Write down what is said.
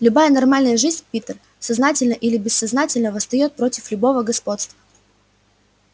любая нормальная жизнь питер сознательно или бессознательно восстаёт против любого господства